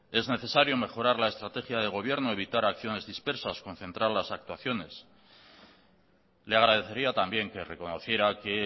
es necesario mejorar la estrategia de gobierno evitar acciones dispersas concentrar las actuaciones le agradecería también que reconociera que